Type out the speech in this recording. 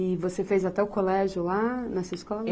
E você fez até o colégio lá, nessa escola?